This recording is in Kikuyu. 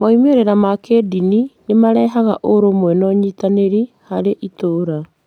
Moimĩrĩro ma kĩĩndini nĩ marehaga ũrũmwe na ũnyitanĩri harĩ itũũra.